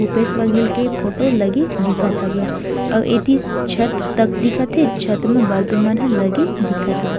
भूपेश बघेल के फोटो लगे दिखत हवय आऊ ए ती छत तक दिखत हे छत में बल्ब मन ह लगे दिखत हावय--